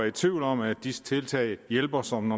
i tvivl om at disse tiltag hjælper som